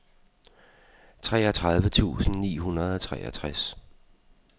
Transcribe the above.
treogtredive tusind ni hundrede og treogtres